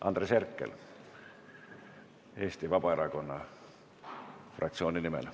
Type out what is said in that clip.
Andres Herkel Eesti Vabaerakonna fraktsiooni nimel.